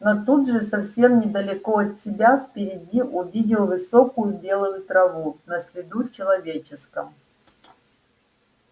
но тут же совсем недалеко от себя впереди увидел высокую белую траву на следу человеческом